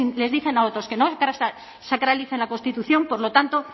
les dicen a otros que no sacralicen la constitución por lo tanto